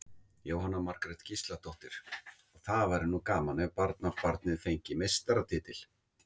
Jóhanna Margrét Gísladóttir: Og það væri nú gaman ef barnabarnið fengi meistaratitil?